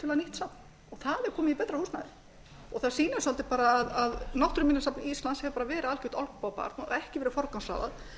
safn og það er komið í betra húsnæði og það sýnir bara að náttúruminjasafn íslands hefur verið algert olnbogabarn og ekki verið forgangsraðað